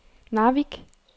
Narvik